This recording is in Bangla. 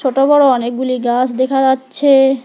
ছোট-বড় অনেকগুলি গাছ দেখা যাচ্ছে।